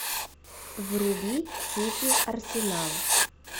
вруби сити арсенал